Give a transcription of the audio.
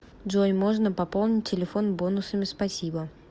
джой можно пополнить телефон бонусами спасибо